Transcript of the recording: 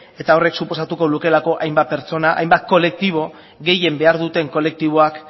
eta horrek suposatuko lukeelako hainbat pertsona hainbat kolektibo gehien behar duten kolektiboak